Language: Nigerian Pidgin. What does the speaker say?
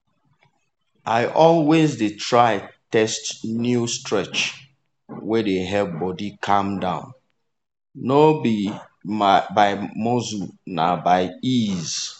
i always dey try test new stretch wey dey help body calm no be by muscle na by ease.